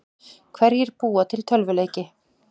Hverjir búa til tölvuleiki?